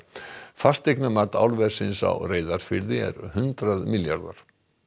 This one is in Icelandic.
fasteignamat álversins á Reyðarfirði er hundrað milljarðar